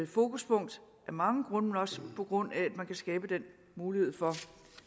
fokuspunkt af mange grunde men også på grund af at man kan skabe den mulighed for